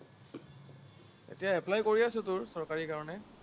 এতিয়া apply কৰি আছো তোৰ, চৰকাৰী কাৰণে।